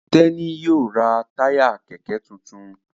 Teni yíò rá Táyà kẹkẹ títún.